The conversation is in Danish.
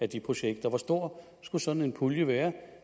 de projekter hvor stor skulle sådan en pulje være